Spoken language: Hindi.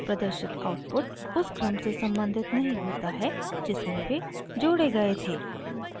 प्रदर्शित आउटपुट उस क्रम से सम्बंधित नहीं होता है जिसमें वे जोड़े गए थे